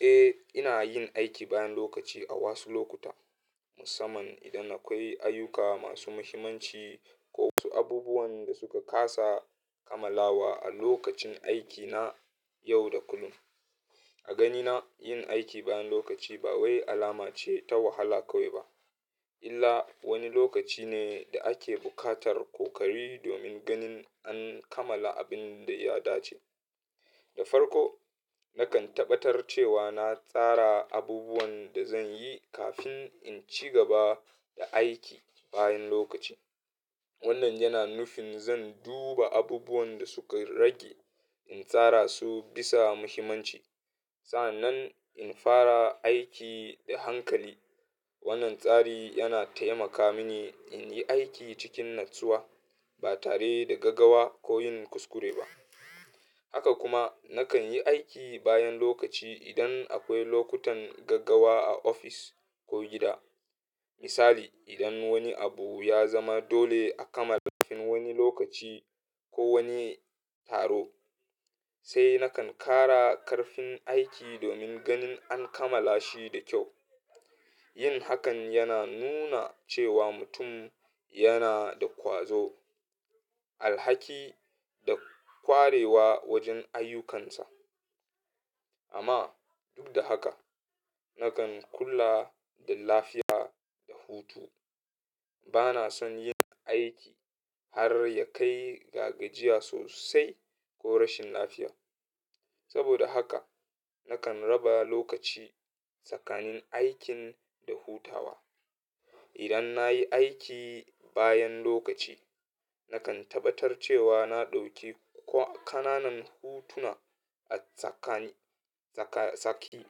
Eh, ina yin aiki bayan lokaci a wasu lokuta, musamman idan akwai ayyuka masu muhimmanci ko wasu abubuwan da suka ƙasa kamala a lokacin aikina yau da kullum. A ganina, yin aiki bayan lokaci ba wai alama ce ta wahala kawai ba, illa wani lokaci ne da ake buƙatar ƙoƙari domin ganin an kamala abin da ya dace. Da farko, nakan tabbatar cewa na tsara abubuwan da zan yi kafin in ci gaba da aiki bayan lokaci. Wannan yana nufin zan duba abubuwan da suka rage, in tsara su bisa muhimmanci, sannan in fara aiki da hankali. Wannan tsari yana taimaka mini in yi aiki cikin natsuwa, ba tare da gaggawa ko yin kuskure ba. Haka kuma, nakan yi aiki bayan lokaci idan akwai lokutan gaggawa a ofis ko gida. Misali, idan wani abu ya zama dole a kamala kafin wani lokaci ko wani taro, sai nakan ƙara karfin aiki domin ganin an kamala shi da kyau. Yin hakan yana nuna cewa mutum yana da ƙwazo, alhaki, da ƙwarewa wajen ayyukansa. Amma duk da haka, nakan kula da lafiya da hutu. Bana son yin aiki har ya kai gagajiya sosai ko rashin lafiya. Saboda haka, nakan raba lokaci tsakanin aikin da hutawa. Idan na yi aiki bayan lokaci, nakan tabbatar cewa na ɗauki ƙananan hutuna a tsaki.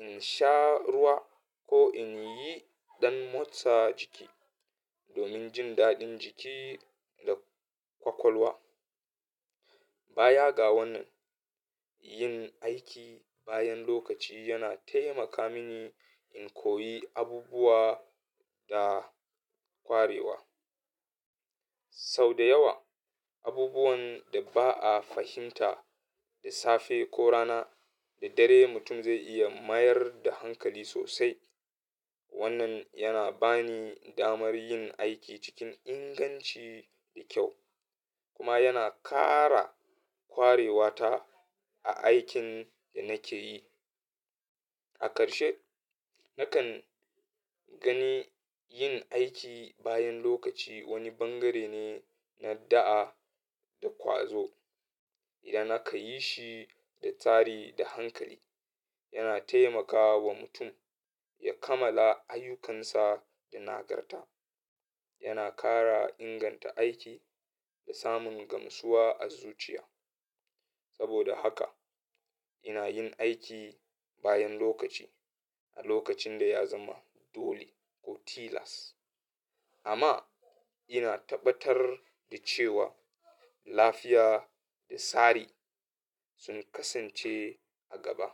In sha ruwa ko in yi ɗan motsa jiki domin jin daɗin jiki da ƙwaƙwalwa. Bayaga wannan, yin aiki bayan lokaci yana taimaka mini in koyi abubuwa da ƙwarewa. Sau da yawa, abubuwan da ba a fahimta da safe ko rana da dare mutum zai iya mayar da hankali sosai. Wannan yana bani damar yin aiki cikin inganci da kyau, kuma yana ƙara ƙwarewata a aikin da nake yi. A ƙarshe, nakan gani yin aiki bayan lokaci wani bangare ne na da'a da ƙwazo idan aka yi shi da tsari da hankali. Yana taimakawa mutum ya kammala ayyukan sa da nagarta, yana ƙara inganta aiki, da samun gamsuwa a zuciya. Saboda haka, ina yin aiki bayan lokaci a lokacin da ya zama dole ko tilas, amma ina tabbatar da cewa lafiya da tsari sun kasance a gaba.